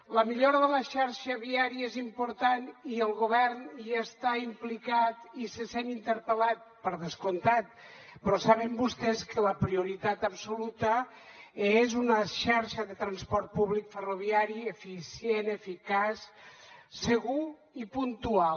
la millora de la xarxa viària és important i el govern hi està implicat i se sent interpel·lat per descomptat però saben vostès que la prioritat absoluta és una xarxa de transport públic ferroviari eficient eficaç segur i puntual